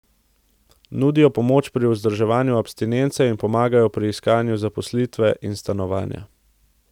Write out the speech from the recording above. Nudijo pomoč pri vzdrževanju abstinence in pomagajo pri iskanju zaposlitve in stanovanja.